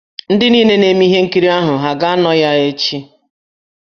Ndị niile na-eme ihe nkiri ahụ ha aga-anọ ya echị?